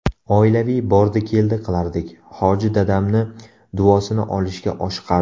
Oilaviy bordi-keldi qilardik, hoji dadamni duosini olishga oshiqardi.